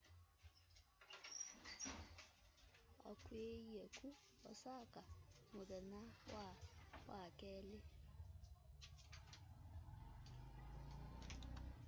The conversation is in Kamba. akw'iiie ku osaka muthenya wa wakeli